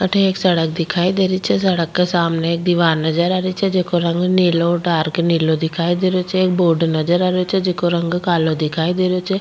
अठे एक सड़क दिखाई दे रही छे सड़क के सामने एक दिवार नजर आ रही छे जेको रंग नीलो डार्क नीलो दिखाई दे रहियो छे एक बोर्ड नजर आ रही छे जेको रंग कालो दिखाई दे रहियो छे।